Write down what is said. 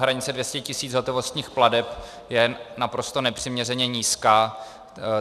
Hranice 200 000 hotovostních plateb je naprosto nepřiměřeně nízká.